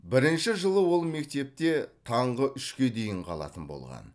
бірінші жылы ол мектепте таңғы үшке дейін қалатын болған